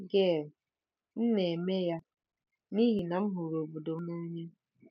Gail: M na-eme ya n'ihi na m hụrụ obodo m n'anya.